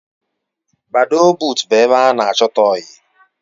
Badoo but ebe ana achota oyi